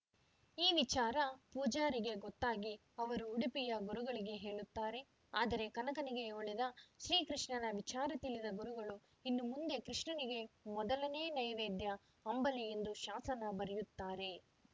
ಈ ವಿಚಾರ ಪೂಜಾರಿಗೆ ಗೊತ್ತಾಗಿ ಅವರು ಉಡುಪಿಯ ಗುರುಗಳಿಗೆ ಹೇಳುತ್ತಾರೆ ಆದರೆ ಕನಕನಿಗೆ ಒಲಿದ ಶ್ರೀ ಕೃಷ್ಣನ ವಿಚಾರ ತಿಳಿದ ಗುರುಗಳು ಇನ್ನು ಮುಂದೆ ಕೃಷ್ಣನಿಗೆ ಮೊದಲನೇ ನೈವೈದ್ಯ ಅಂಬಲಿ ಎಂದು ಶಾಸನ ಬರೆಯುತ್ತಾರೆ